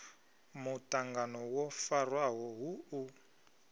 muṱangano wo farwaho hu u